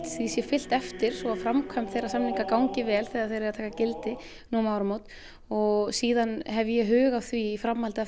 því sé fylgt eftir svo framkvæmd þeirra samninga gangi vel þegar þeir eiga að taka gildi nú um áramót og síðan hef ég hug á því í framhaldinu